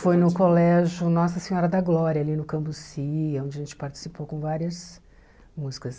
Foi no colégio Nossa Senhora da Glória, ali no Cambuci, onde a gente participou com várias músicas.